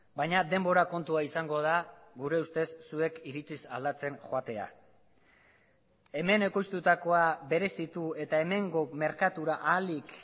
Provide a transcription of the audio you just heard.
baina denbora kontua izango da gure ustez zuek iritziz aldatzen joatea hemen ekoiztutakoa berezitu eta hemengo merkatura ahalik